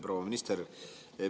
Proua minister!